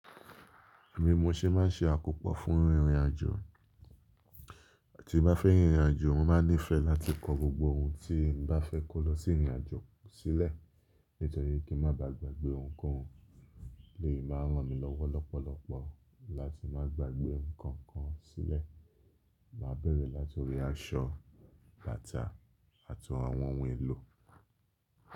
Èmi mo ṣe máa ń ṣe àkópọ̀ fún ìrìnàjò. Tí bá fẹ́ rìnrìnàjò, mo máa nífẹ̀ẹ́ láti kó gbogbo ohun tí n bá fẹ́ kó lọ sí ìrìnàjò sílẹ̀, nítorí kí n má bàá gbàgbé ohunkóhun. Lè máa ràn mí lọ́wọ́ lọ́pọ̀lọpọ̀ láti má gbàgbé nkankan sílẹ̀. Máa ń bẹ̀rẹ̀ láti ori aṣọ, bàtà àti àwọn ohun èlò.